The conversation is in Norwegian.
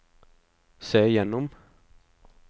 se gjennom